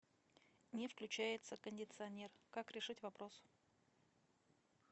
не включается кондиционер как решить вопрос